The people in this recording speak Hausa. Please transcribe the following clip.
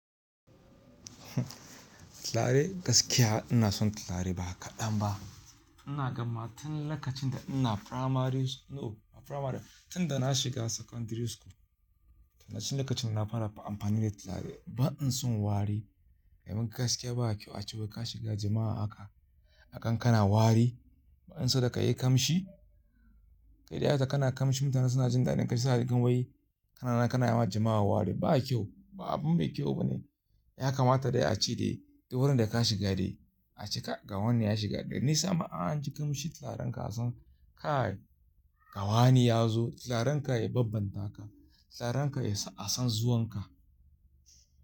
Tirare gaskiya ina son tirare ba kaɗan ba. Ina gama tin lokacin da ina primary sch-- no ba primary ba, tin da na shiga secondary school. Tin na cin lokacin na fara amfani da talari. Ban son wari. Domin gaskiya ba kyau a cewa ka shiga jama'a ahaka, a gan kana wari. Banso da ka yi kamshi. Kai dai haka kana kamshi mutane suna jin daɗin kai suna cikin wai kana, kana yawan jama'a wari. Ba kyau, ba abun mai kyau bane. Ya kamata dai a ci dai, da wurin da ka shiga dai a cika. Ga wani ya shiga, dan nisa ma an ji kamshin tiraren ka san ka! Ga wani ya zo tirarenb ka ya bambanta ka. Tiraren ka ya san zuwan ka.